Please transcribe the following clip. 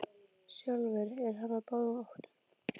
Sjálfur er hann á báðum áttum.